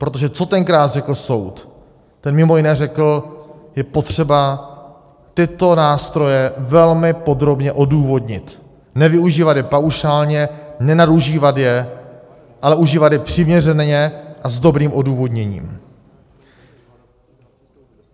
Protože co tenkrát řekl soud, ten mimo jiné řekl: Je potřeba tyto nástroje velmi podrobně odůvodnit, nevyužívat je paušálně, nenadužívat je, ale užívat je přiměřeně a s dobrým odůvodněním.